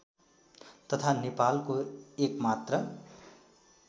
तथा नेपालको एकमात्र